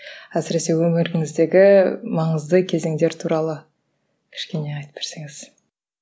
әсіресе өміріңіздегі маңызды кезеңдер туралы кішкене айтып берсеңіз